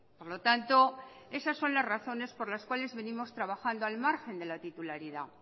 por lo tanto esas son las razones por las cuales venimos trabajando al margen de la titularidad